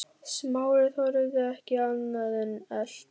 Smári þorði ekki annað en elta.